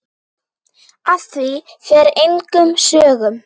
Af því fer engum sögum.